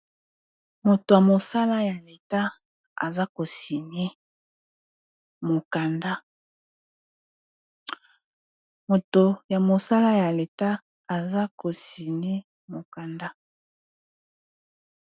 Moto ya mosala ya leta aza ko signe mokanda.